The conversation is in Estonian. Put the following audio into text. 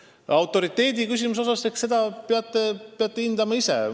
Nii et selle autoriteediküsimuse kohta ütlen, et peate seda ise hindama.